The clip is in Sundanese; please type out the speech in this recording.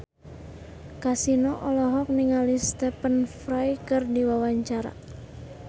Kasino olohok ningali Stephen Fry keur diwawancara